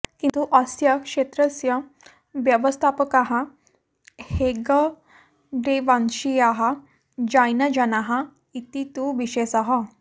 किन्तु अस्य क्षेत्रस्य व्यवस्थापकाः हेग्गडेवंशीयाः जैनजनाः इति तु विशेषः